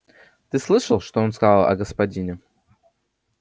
ты слышал что он сказал о господине